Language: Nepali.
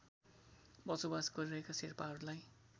बसोबास गरीरहेका शेर्पाहरूलाई